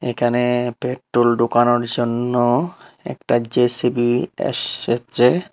এখানে পেট্রোল ঢুকানোর জন্য একটা জে_সি_বি এসেছে।